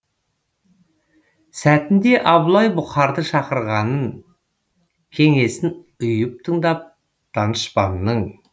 сәтінде абылай бұқарды шақырғанын кеңесін ұйып тыңдап данышпанның